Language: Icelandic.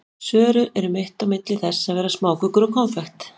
Sörur eru mitt á milli þess að vera smákökur og konfekt.